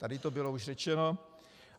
Tady to bylo už řečeno.